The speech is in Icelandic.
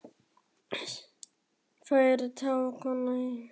Sest niður og fleiri tár koma í kjölfar þess fyrsta.